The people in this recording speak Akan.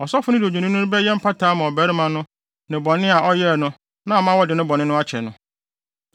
Ɔsɔfo no de odwennini no bɛyɛ mpata ama ɔbarima no bɔne a ɔyɛe no na ama wɔde ne bɔne no akyɛ no.